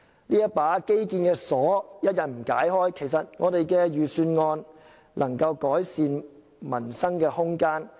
這把基建的鎖一日不解開，預算案就未能就改善民生提供空間。